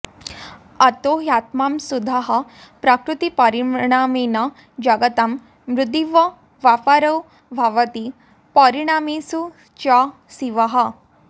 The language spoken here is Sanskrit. अतो ह्यात्मा शुद्धः प्रकृतिपरिणामेन जगतां मृदीव व्यापारो भवति परिणामेषु च शिवः